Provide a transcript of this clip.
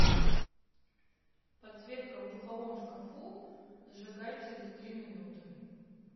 подсветка в духовом шкафу зажигай через три минуты